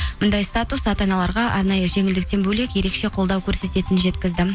мұндай статус ата аналарға арнайы жеңілдіктен бөлек ерекше қолдау көрсететінін жеткізді